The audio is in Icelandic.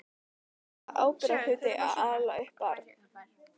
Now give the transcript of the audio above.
Það er ábyrgðarhluti að ala upp barn.